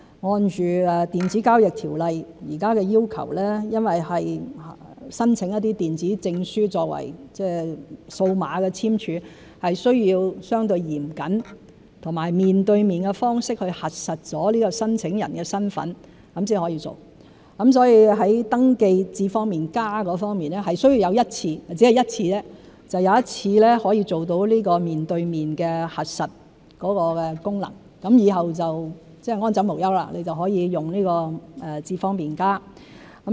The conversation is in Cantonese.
按《電子交易條例》現時的要求，因為是申請電子證書作為數碼簽署，是需要相對嚴謹和面對面的方式去核實申請人的身份才可以做，所以在登記"智方便＋"方面是需要有一次——只要一次——做到面對面核實功能，以後就安枕無憂，可以用"智方便＋"。